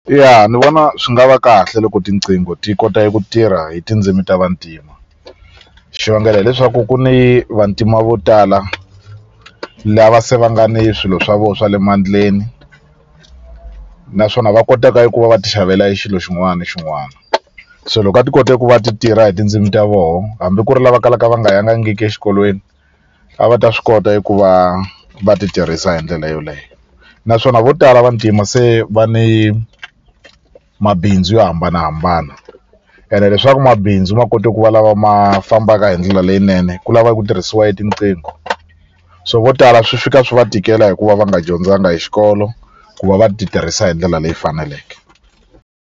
Ya ni vona swi nga va kahle loko tinqingho ti kota eku tirha hi tindzimi ta vantima xivangelo hileswaku ku ni vantima vo tala lava se va nga ni swilo swa vona swa le mandleni naswona va kotaka eku va va ti xavela e xilo xin'wani ni xin'wani se loko a ti kote ku va ti tirha hi tindzimi ta voho hambi ku ri lava kalaka va nga yangangiki exikolweni a va ta swi kota eku va va ti tirhisa hi ndlela yoleyo naswona vo tala vantima se va ni mabindzu yo hambanahambana ene leswaku mabindzu ma kote ku va lama ma fambaka hi ndlela leyinene ku lava ku tirhisiwa e tinqingho so vo tala swi fika swi va tikela hikuva va nga dyondzanga e xikolo ku va va ti tirhisa hi ndlela leyi faneleke.